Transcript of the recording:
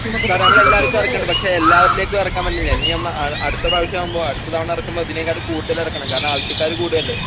സാറെ നമ്മളെല്ലാര്ക്കും എറക്കണ്ട് പക്ഷെ എല്ലാവരിലേക്കും എറക്കാൻവേണ്ടി ഇനിയും ന്ന അ അടുത്ത പ്രാവശ്യാവുമ്പോ അടുത്ത തവണ എറക്കുമ്പോ ഇതിനേംകാട്ടും കൂടുതലെറക്കണം കാരണം ആവശ്യക്കാര് കൂടുവല്ലേ?